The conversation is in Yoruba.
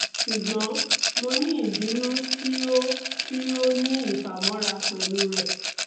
ṣugbọn mo ni ibinu ti o ti o ni ifamọra pẹlu rẹ